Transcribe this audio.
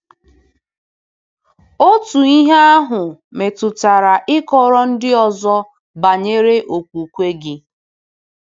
Otu ihe ahụ metụtara ịkọrọ ndị ọzọ banyere okwukwe gị.